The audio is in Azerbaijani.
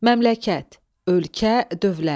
Məmləkət – ölkə, dövlət.